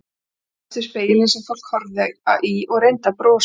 Hún barðist við spegilinn sem fólk horfði í og reyndi að brosa.